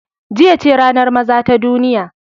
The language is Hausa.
Jiya ce ranar maza ta duniya.